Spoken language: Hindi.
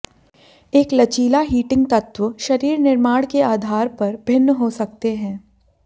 एक लचीला हीटिंग तत्व शरीर निर्माण के आधार पर भिन्न हो सकते हैं